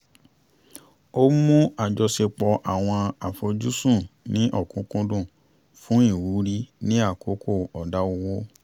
a mú àjọṣepọ̀ àwọn àfojúsùn ní okúnkúndùn fún ìwúrí ni àkókò ọ̀dá owó